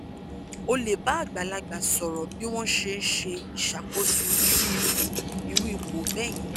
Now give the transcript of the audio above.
o le ba agbalagba soro bi won se se isakoso iru ipo iru ipo beyen